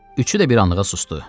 Üçü də bir anlığa susdu.